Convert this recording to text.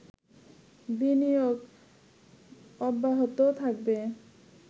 বিনিয়োগ অব্যাহত থাকবে